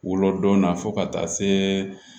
Wolodon na fo ka taa se